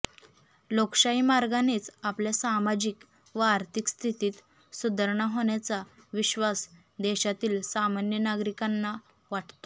लोकशाही मार्गानेच आपल्या सामाजिक व आर्थिक स्थितीत सुधारणा होण्याचा विश्वास देशातील सामान्य नागरिकांना वाटतो